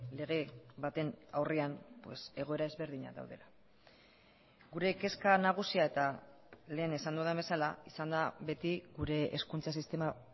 lege baten aurrean egoera ezberdinak daudela gure kezka nagusia eta lehen esan dudan bezala izan da beti gure hezkuntza sistema